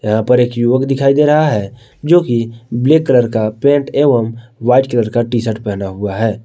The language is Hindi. यहां पर एक युवक दिखाई दे रहा है जोकि ब्लैक कलर का पैंट एवं व्हाइट कलर का टीशर्ट पेहना हुआ है।